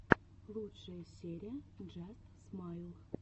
лучшая серия джаст смайл